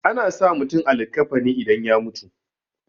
ana sa mutum a likkafani idan ya mutu